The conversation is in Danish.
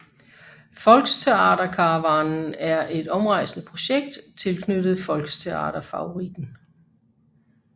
Volxtheaterkarawanen er et omrejsende projekt tilknyttet Volxtheater Favoriten